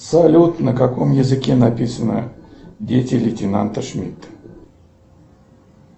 салют на каком языке написано дети лейтенанта шмидта